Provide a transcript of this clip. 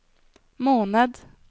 måned